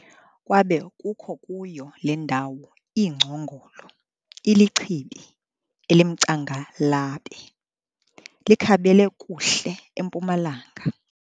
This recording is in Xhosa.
Kwabe kukho kuyo le ndawo iingcongolo, ilichibi elimcangalabe, likhabele kuhle empumalanga.